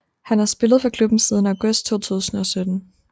Han har spillet for klubben siden august 2007